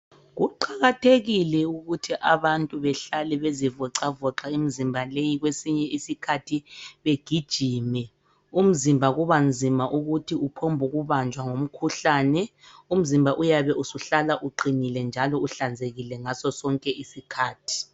Kuqakathekile ukuthi abantu behlale bezivocavoca imizimba leyi kwesinye isikhathi begijime. Umzimba kubanzima ukuthi uphombukubanjwa ngumkhuhlane umzimba uyabe usuhlala uqinile njalo uhlanzekile ngasosonke isikhathi.